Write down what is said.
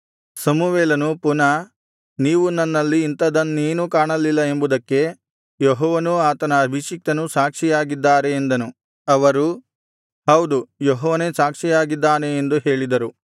ಸಮುವೇಲನು ಪುನಃ ನೀವು ನನ್ನಲ್ಲಿ ಇಂಥದನ್ನೇನೂ ಕಾಣಲಿಲ್ಲ ಎಂಬುದಕ್ಕೆ ಯೆಹೋವನೂ ಆತನ ಅಭಿಷಿಕ್ತನೂ ಸಾಕ್ಷಿಯಾಗಿದ್ದಾರೆ ಎಂದನು ಅವರು ಹೌದು ಯೆಹೋವನೇ ಸಾಕ್ಷಿಯಾಗಿದ್ದಾನೆ ಎಂದು ಹೇಳಿದರು